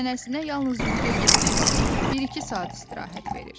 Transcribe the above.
Çənəsinə yalnız yuxuya getdiyi vaxt bir-iki saat istirahət verir.